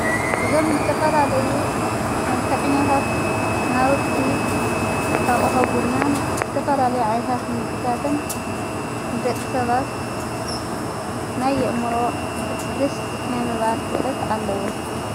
እዞም ዝተፈላለዩ መልክዐኛታት ናውቲ ኣቕሑ ቡናን ዝተፈላለየ ዓይነታት ምግብታትን ንደቂ ሰባት ናይ ኣእምሮ ሕድስ ናይ ምባል ክእለት ኣለዎም።